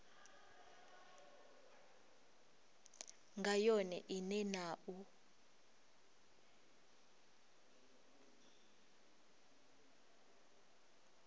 nga yone ine na u